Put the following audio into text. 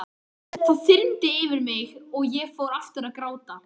Það þyrmdi yfir mig og ég fór aftur að gráta.